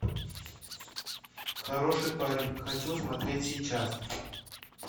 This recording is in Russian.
хороший парень хочу смотреть сейчас